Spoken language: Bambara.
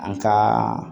An ka